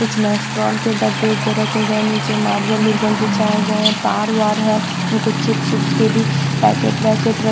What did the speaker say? कुछ नेस्ट्रॉन के डब्बे उब्बे रखे गए नीचे मार्बल वुरबल बिछाए गए हैं तार वार हैं कुछ चिप्स विप्स के भी पैकेट वैकेटरखे--